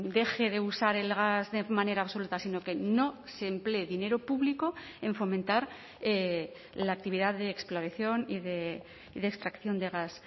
deje de usar el gas de manera absoluta sino que no se emplee dinero público en fomentar la actividad de exploración y de extracción de gas